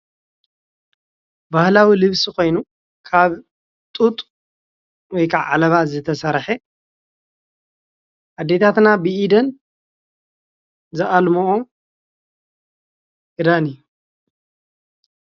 ባህላዊ ልብሲ ኮይኑ ካብ ጡጥ ወይ ኸዓ ዓለባ ዝተሰርሐ ኣዴታትና ብኢደን ዝኣልምኦ ኽዳን እዩ።